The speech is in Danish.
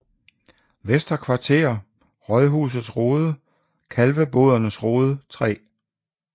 Vester Kvarter Rådhusets Rode Kalvebodernes Rode 3